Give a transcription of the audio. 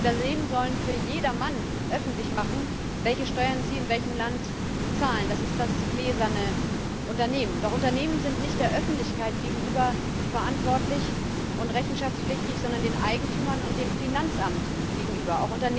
Unternehmen sollen für jedermann öffentlich machen, welche Steuern sie in welchem Land zahlen das ist das gläserne Unternehmen. Doch Unternehmen sind nicht der Öffentlichkeit gegenüber verantwortlich und rechenschaftspflichtig, sondern den Eigentümern und dem Finanzamt gegenüber.